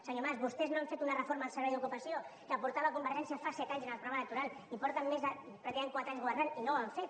senyor mas vostès no han fet una reforma del servei d’ocupació que ho portava convergència fa set anys en el programa electoral i porten més de president quatre anys governant i no ho han fet